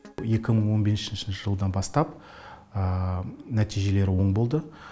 екі мың он бесінші жылдан бастап нәтижелер оң болды